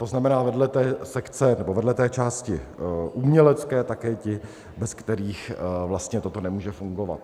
To znamená vedle té sekce, nebo vedle té části umělecké také ti, bez kterých vlastně toto nemůže fungovat.